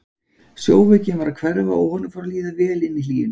Sjóveikin var að hverfa og honum fór að líða vel inni í hlýjunni.